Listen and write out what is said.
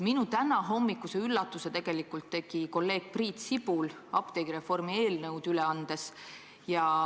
Minu tänahommikuse üllatuse tegi kolleeg Priit Sibul apteegireformi eelnõu üle andes.